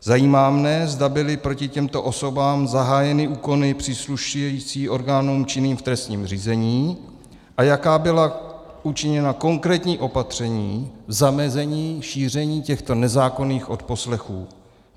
Zajímá mě, zda byly proti těmto osobám zahájeny úkony příslušející orgánům činným v trestním řízení a jaká byla učiněna konkrétní opatření k zamezení šíření těchto nezákonných odposlechů.